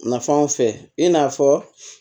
Nafanw fɛ i n'a fɔ